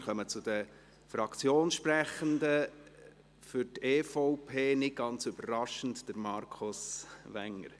Wir kommen zu den Fraktionssprechenden: für die EVP – nicht ganz überraschend – Markus Wenger.